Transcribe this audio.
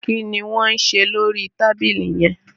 kini Wón ṣe lórí tábìlì yén?